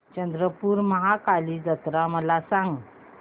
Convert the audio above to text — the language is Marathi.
चंद्रपूर महाकाली जत्रा मला सांग